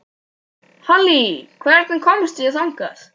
Halley, hvernig kemst ég þangað?